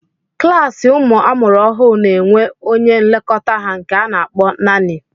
Klaasi ụmụ amụrụ ọhụụ n'enwe onye nlekọta ha nke a na akpọ naanị